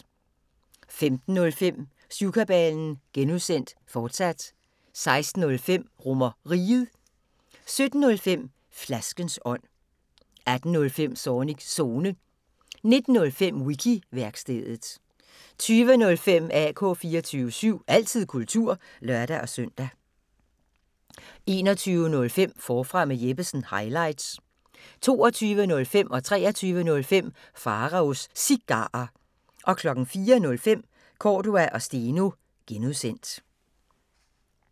15:05: Syvkabalen (G), fortsat 16:05: RomerRiget 17:05: Flaskens ånd 18:05: Zornigs Zone 19:05: Wiki-værkstedet 20:05: AK 24syv – altid kultur (lør-søn) 21:05: Forfra med Jeppesen – highlights 22:05: Pharaos Cigarer 23:05: Pharaos Cigarer 04:05: Cordua & Steno (G)